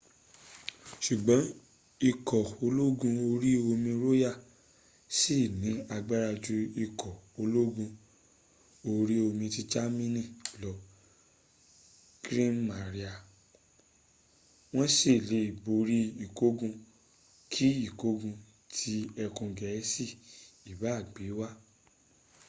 ṣùgbọ́n ikọ̀ ológun orí omi royal ṣì ní agbára ju ikọ̀ ológun orí omi ti germany lọ kriegsmarine” wọ́n sì le borí ìgbógun kí ìgbógun tí ẹkùn gẹ̀ẹ́sì ìbá gbé wá